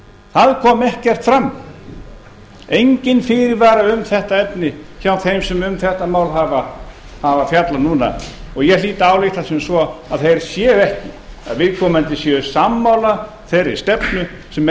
það kom ekekrt fram enginn fyrirvari um þetta efni hjá þeim sem um þetta mál hafa fjallað núna og ég hlýt að álykta sem svo að þeir séu ekki að viðkomandi séu sammála þeirri stefnu sem